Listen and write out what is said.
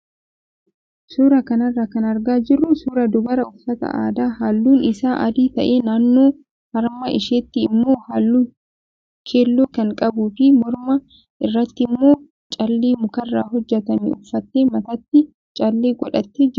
Suuraa kanarraa kan argaa jirru suuraa dubara uffata aadaa halluun isaa adii ta'e naannoo harma isheetti immoo halluu keelloo kan qabuu fi morma irratti immoo callee mukarraa hojjatame uffattee mataatti callee godhattee jirtudha.